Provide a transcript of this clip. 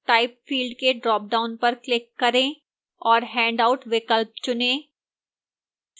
type field के dropdown पर click करें और handouts विकल्प चुनें